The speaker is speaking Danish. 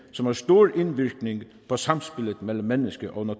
som har stor indvirkning på samspillet mellem menneske og